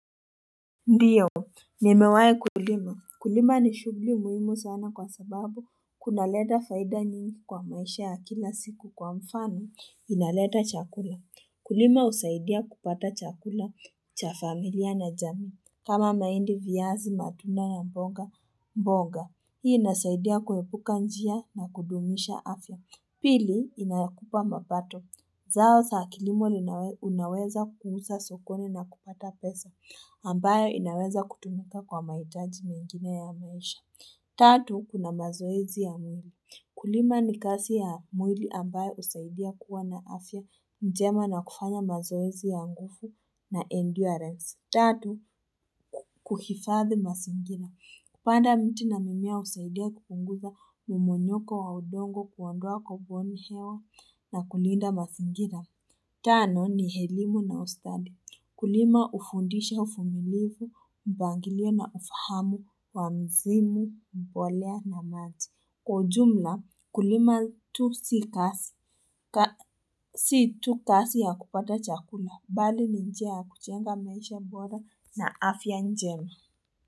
Ndiyo nimewai kulima kulima ni shughuli muhimu sana kwa sababu kunaleta faida nyingi kwa maisha ya kila siku kwa mfano inaleta chakula kulima husaidia kupata chakula cha familia na jamii kama mahindi viazi matunda na mboga mboga hii inasaidia kuepuka njia na kudumisha afya pili inayokupa mapato zao, za kilimo linaweza kuusza sokoni na kupata pesa ambayo inaweza kutumika kwa mahitaji mingine ya maisha. Tatu, kuna mazoezi ya mwili. Kulima ni kazi ya mwili ambayo husaidia kuwa na afya njema na kufanya mazoezi ya nguvu na endurance. Tatu, kuhifadhi mazingira. Kupanda miti na mimea husaidia kupunguza mmonyoko wa udongo kuondoa kabuoni hewa na kulinda mazingira. Tano ni elimu na ustadi kulima hufundisha uvumilivu mpangilio na ufahamu wa msimu mbolea na mati Kwa ujumla kulima tu si kazi si kazi ya kupata chakula bali ni njia ya kujenga maisha bora na afya njema.